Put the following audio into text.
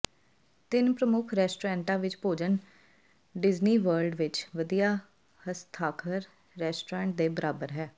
ਤਿੰਨ ਪ੍ਰਮੁੱਖ ਰੈਸਟੋਰੈਂਟਾਂ ਵਿੱਚ ਭੋਜਨ ਡਿਜ਼ਨੀ ਵਰਲਡ ਵਿੱਚ ਵਧੀਆ ਹਸਤਾਖਰ ਰੈਸਟੋਰੈਂਟ ਦੇ ਬਰਾਬਰ ਹੈ